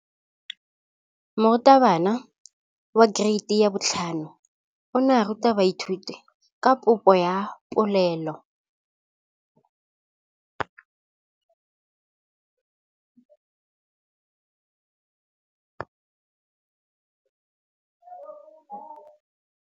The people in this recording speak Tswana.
Moratabana wa kereiti ya 5 o ne a ruta baithuti ka popô ya polelô.